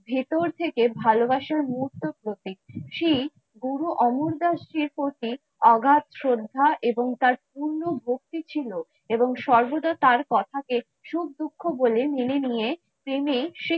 ভেতর থেকে ভালোবাসার মুহূর্তের প্রতীক শ্রী গুরু অমরদাসজির প্রতি অগাধ শ্রদ্ধা এবং তার পূর্ণভক্তি ছিল, এবং সর্বদা তার কথা কে সুখ দুঃখ বলে মেনে নিয়ে তিনি